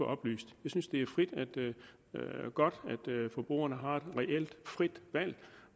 oplyst jeg synes det er godt at forbrugerne har et reelt frit valg